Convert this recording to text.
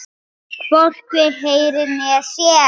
Hann hvorki heyrir né sér.